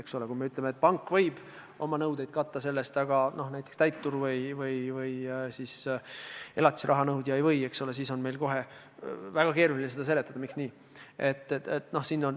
Eks ole, kui me ütleme, et pank võib oma nõudeid selle arvel katta, aga näiteks täitur või elatisraha nõudja ei või, siis on meil kohe väga keeruline seletada, miks nii on.